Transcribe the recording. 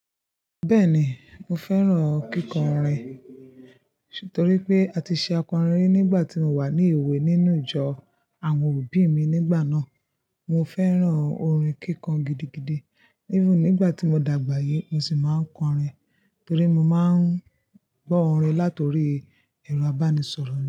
Bẹ́ẹ̀ ni, mo fẹ́ràn kíkọrin, torí pé a ti ṣe akọrin rí nígbà tí mo wà ní ìwé nínú ìjọ àwọn òbí mi nígbà náà. Mo fẹ́ràn orin kíkọ gidigidi. Even nígbà tí mo dàgbà yí, mo sì máa ń kọrin torí mo máa ń gbọ́ orin látòrí ẹ̀rọ abánisọ̀rọ̀ mi.